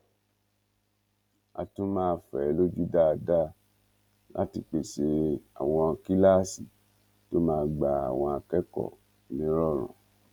á tún máa fẹ ẹ lójú dáadáa láti pèsè àwọn kíláàsì tó máa gba àwọn akẹkọọ nírọrùn